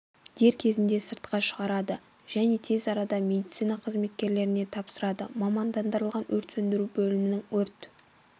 дер кезінде сыртқа шығарды және тез арада медицина қызметкерлеріне тапсырды мамандандырылған өрт сөндіру бөлімінің өрт